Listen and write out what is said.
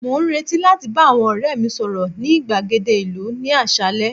mo n reti láti ba àwọn ore mi sọrọ ni igbagede ìlú ni asale